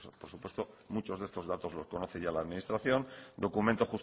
por supuesto muchos de estos datos los conoce ya la administración documento